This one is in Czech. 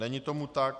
Není tomu tak.